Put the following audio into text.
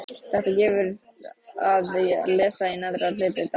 Þetta gefur að lesa í neðra hluta dálksins